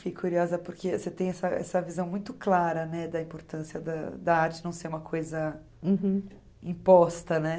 Fiquei curiosa porque você tem essa essa visão muito clara, né, da importância da da arte não ser uma coisa imposta, né?